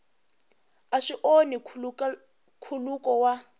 a swi onhi nkhuluko wa